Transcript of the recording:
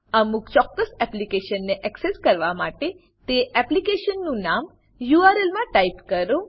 અમુક ચોક્કસ એપ્લીકેશનને એક્સેસ કરવા માટે તે એપ્લીકેશનનું નામ યુઆરએલ યુઆરએલ માં ટાઈપ કરો